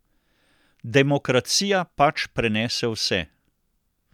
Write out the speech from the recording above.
Demokracija pač prenese vse.